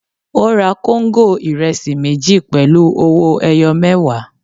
Ó ra kóńgò ìrẹsì méjì pẹ̀lú owó-ẹyọ mẹẹwa.